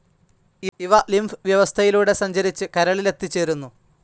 ഇവ ലിംഫ്‌ വ്യവസ്ഥയിലൂടെ സഞ്ചരിച്ച് കരളിലെത്തിച്ചേരുന്നു.